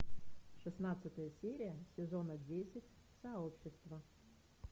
шестнадцатая серия сезона десять сообщество